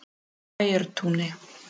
Bæjartúni